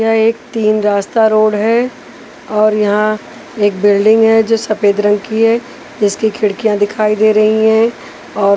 यह एक तीन रास्ता रोड है और यहाँ एक बिल्डिंग है जो सफेद रंग की है इसकी खिड़कियाँ दिखाई दे रही हैं और --